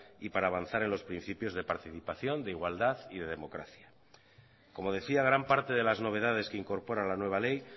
y para avanzar en los principios de participación de igualdad y de democracia como decía gran parte de las novedades que incorpora la nueva ley